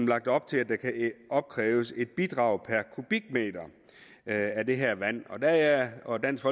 lagt op til at der kan opkræves et bidrag per kubikmeter af det her vand og der er jeg og dansk